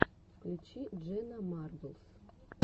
включи дженна марблс